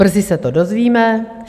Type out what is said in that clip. Brzy se to dozvíme.